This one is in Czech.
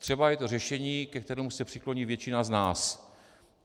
Třeba je to řešení, ke kterému se přikloní většina z nás.